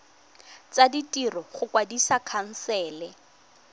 tsa ditiro go kwadisa khansele